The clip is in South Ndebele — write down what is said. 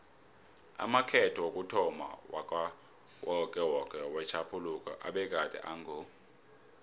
amakhetho wokuthomma wakawokewoke wetjhaphuluko abegade ango